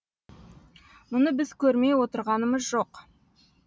мұны біз көрмей отырғанымыз жоқ